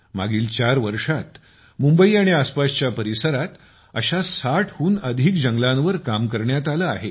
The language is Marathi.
मागील चार वर्षांत मुंबई आणि आसपासच्या परिसरात अशा 60 हून अधिक जंगलांवर काम करण्यात आले आहे